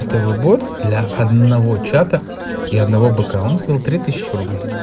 новый год для одного чата и одного бокового три тысячи рублей